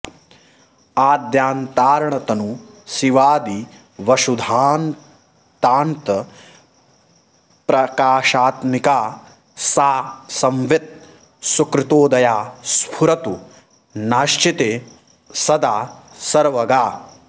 आद्यान्तार्णतनूः शिवादिवसुधान्तान्तःप्रकाशात्मिका सा संवित् सुकृतोदया स्फुरतु नश्चित्ते सदा सर्वगा